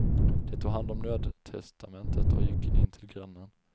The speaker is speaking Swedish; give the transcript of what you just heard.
De tog hand om nödtestamentet och gick in till grannen.